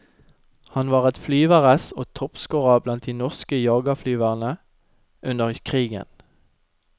Han var et flyveress og toppscorer blant de norske jagerflyverne under krigen.